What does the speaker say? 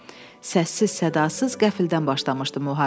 Səssiz-sədasız qəflətən başlamışdı müharibə.